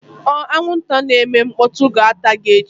Anwụnta na-eme mkpọtụ ga-ata gị echi